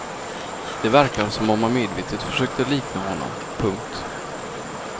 Det verkar som om han medvetet försöker likna honom. punkt